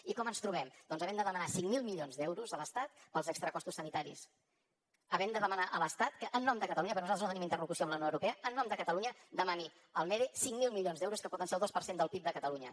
i com ens trobem doncs havent de demanar cinc mil milions d’euros a l’estat pels extracostos sanitaris havent de demanar a l’estat que en nom de catalunya perquè nosaltres no tenim interlocució amb la unió europea en nom de catalunya demani al mede cinc mil milions d’euros que poden ser del dos per cent del pib de catalunya